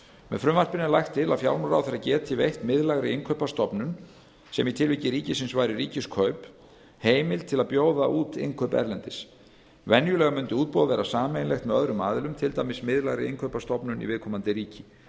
með frumvarpinu er lagt til að fjármálaráðherra geti veitt miðlægri innkaupastofnun sem í tilviki ríkisins væri ríkiskaup heimild til að bjóða út innkaup erlendis venjulega mundi útboð vera sameiginlegt með öðrum aðilum til dæmis miðlægri innkaupastofnun í viðkomandi ríki